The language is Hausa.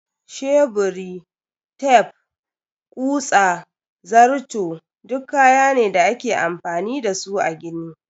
Sheburi, tef, kutsa, zarto duk kayaki ne da ake amfani da su a gini.